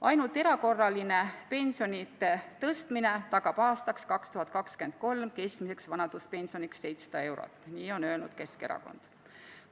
Ainult erakorraline pensionide tõstmine tagab aastaks 2023 keskmiseks vanaduspensioniks 700 eurot – nii on öelnud Keskerakond.